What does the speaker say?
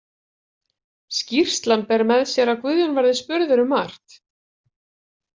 Skýrslan ber með sér að Guðjón verið spurður um margt.